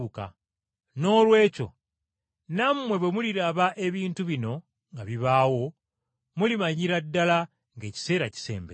Noolwekyo nammwe bwe muliraba ebintu ebyo nga bibaawo, nga mumanya nti ekiseera kiri kumpi, era kisemberedde ddala ku luggi.